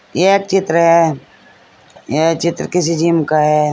यह चित्र यह चित्र किसी जिम का है।